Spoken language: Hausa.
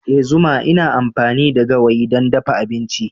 Ee zuma ina amfani da gawayi don dafa abinci.